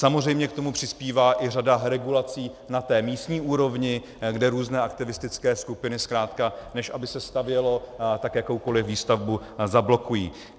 Samozřejmě k tomu přispívá i řada regulací na té místní úrovni, kde různé aktivistické skupiny zkrátka, než aby se stavělo, tak jakoukoliv výstavbu zablokují.